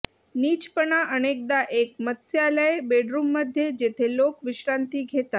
नीचपणा अनेकदा एक मत्स्यालय बेडरूममध्ये जेथे लोक विश्रांती घेतात